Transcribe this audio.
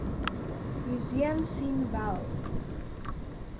museum sien wel